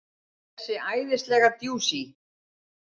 Þessi æðislega djúsí!